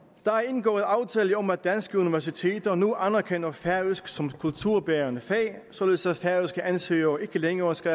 der er indgået aftale om at danske universiteter nu anerkender færøsk som kulturbærende fag således at færøske ansøgere ikke længere skal